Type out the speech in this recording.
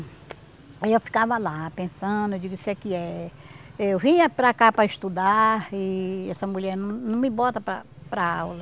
Aí eu ficava lá, pensando, eu digo, isso aqui é... Eu vim é para cá para estudar e essa mulher não não me bota para para aula.